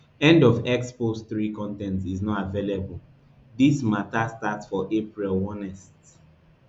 end of x post three con ten t is not available dis mata start for april onest